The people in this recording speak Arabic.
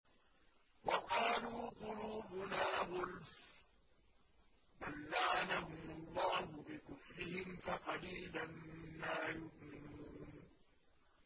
وَقَالُوا قُلُوبُنَا غُلْفٌ ۚ بَل لَّعَنَهُمُ اللَّهُ بِكُفْرِهِمْ فَقَلِيلًا مَّا يُؤْمِنُونَ